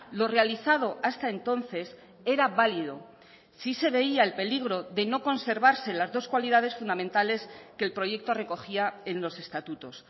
lo realizado hasta entonces era válido si se veía el peligro de no conservarse las dos cualidades fundamentales que el proyecto recogía en los estatutos